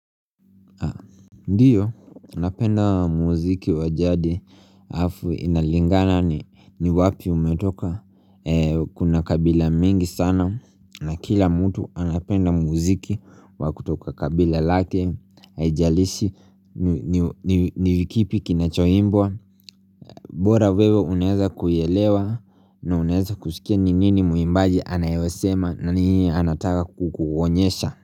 Ndiyo napenda muziki wa jadi halafu inalingana ni wapi umetoka kuna kabila mingi sana na kila mtu anapenda muziki wa kutoka kabila lake haijalishi ni ni kipi kinachoimbwa. Bora wewe unaweza kuielewa na unaweza kusikia ni nini mwimbaji anayosema na nini anataka kukuonyesha.